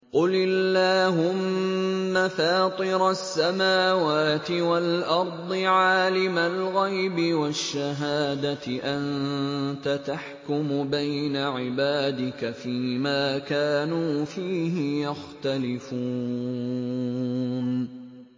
قُلِ اللَّهُمَّ فَاطِرَ السَّمَاوَاتِ وَالْأَرْضِ عَالِمَ الْغَيْبِ وَالشَّهَادَةِ أَنتَ تَحْكُمُ بَيْنَ عِبَادِكَ فِي مَا كَانُوا فِيهِ يَخْتَلِفُونَ